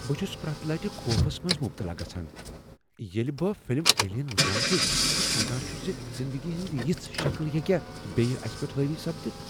بہٕ چھس پرٛیتھ لٹہ خوفس منٛز مبتلا گژھان ییٚلہ بہٕ فلم "ایلین" وٕچھان چھس تہٕ سوچان چھس زِ زندگی ہنز یژھ شکل ہیکیا اسہ پیٹھ حاوی سپدتھ۔